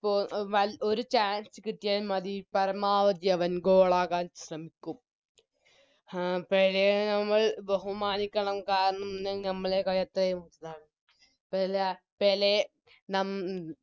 പ്പോ വ ഒര് Chance കിട്ടിയാൽ മതി പരമാവധി അവൻ Goal ആകാൻ ശ്രെമിക്കും ആ പെലെയെ നമ്മൾ ബഹുമാനിക്കണം കാരണം ന്താൽ ഞമ്മളേക്കാളത്രയും വലുതാണ് പെല പെലെ നം